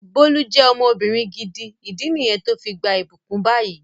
Bólú je ọmọbìnrin gidi, ìdí niyen to fi gbà ibukun bayi